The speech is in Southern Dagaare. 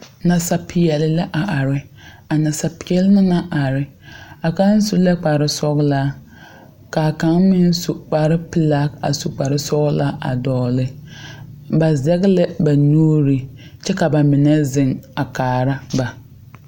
Nasapeɛle la a are a nsapeɛle naŋ are a kaŋa su la kpare sɔglaa ka kaŋ meŋ su kpare pelaa a su kparre sɔglaa dogli ba zigi la ba nuuri kyɛ ka ba mine zeŋ a kaara ba.